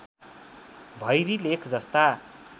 भैरी लेख जस्ता